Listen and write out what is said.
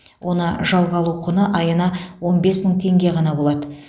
оны жалға алу құны айына он бес мың теңге ғана болады